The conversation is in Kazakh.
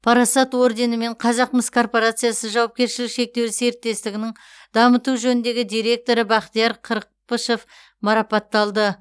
парасат орденімен қазақмыс корпорациясы жауапкершілігі шектеулі серіктестігінің дамыту жөніндегі директоры бақтияр қырықпышев марапатталды